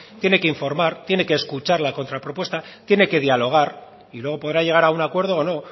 tiene que informar tiene que escuchar la contrapropuesta tiene que dialogar y luego podrá llegar a un acuerdo o no